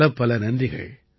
பலப்பல நன்றிகள்